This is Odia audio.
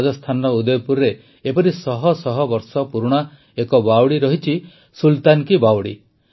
ରାଜସ୍ଥାନର ଉଦୟପୁରରେ ଏପରି ଶହଶହ ବର୍ଷ ପୁରୁଣା ଏକ ବାୱଡ଼ି ରହିଛି ସୁଲତାନ କୀ ବାୱଡି